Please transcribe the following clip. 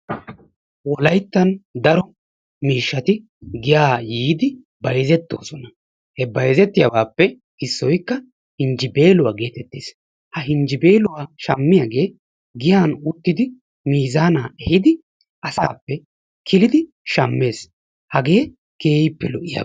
wolayttan dao miishshati giyaa yiidi bayzzettoosona. He bayzzettiyaabappe issoykka yinjjibeeluwaa getettees. Ha yinjjibeluwaa shammiyaagee giyan uttidi mizaana ehiidi asappe kilidi shaammees. Hagee keehippe lo"iyaba.